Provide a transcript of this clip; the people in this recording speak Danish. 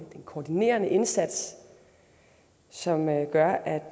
koordineret indsats som gør at